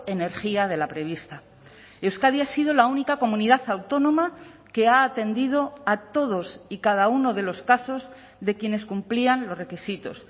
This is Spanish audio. energía de la prevista euskadi ha sido la única comunidad autónoma que ha atendido a todos y cada uno de los casos de quienes cumplían los requisitos